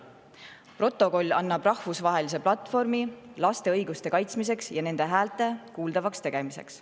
Protokoll annab rahvusvahelise platvormi laste õiguste kaitsmiseks ja nende hääle kuuldavaks tegemiseks.